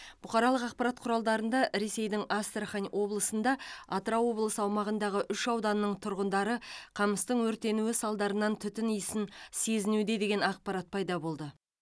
бұқаралық ақпарат құралдарында ресейдің астрахан облысында атырау облысы аумағындағы үш ауданның тұрғындары қамыстың өртенуі салдарынан түтін исін сезінуде деген ақпарат пайда болды